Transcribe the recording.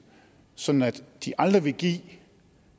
sådan at de aldrig vil give